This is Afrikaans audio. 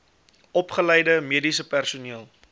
opgeleide mediese personeel